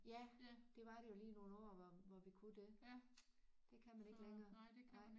Ja det var det jo lige i nogle år hvor hvor vi kunne det det kan man ikke længere nej